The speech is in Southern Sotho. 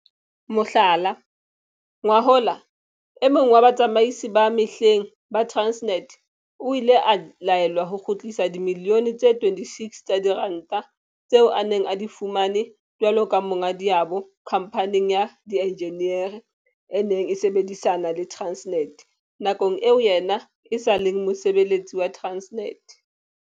Mohlala, ngwahola e mong wa batsamaisi ba mehleng ba Transnet o ile a laelwa ho kgutlisa dimilione tse 26 tsa diranta tseo a neng a di fumane jwalo ka monga diabo khamphaneng ya dienjiniere e neng e sebedisana le Transnet nakong eo yena e sa leng mosebeletsi wa Transnet.